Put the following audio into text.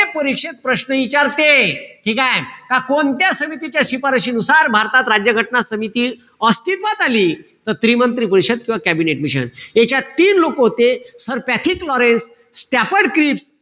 परिषद प्रश्न इचारते, ठीकेय? का कोणत्या समितीच्या शिफारसीनुसार भारतात राज्य घटना समिती अस्तित्वात आली. त त्रिमंत्री परिषद किंवा कॅबिनेट मिशन. यांच्यात तीन लोक होते. Sir Pethick Lawrence, Stafford Cripps,